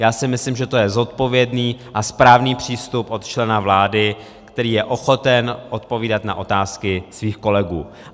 Já si myslím, že to je zodpovědný a správný přístup od člena vlády, který je ochoten odpovídat na otázky svých kolegů.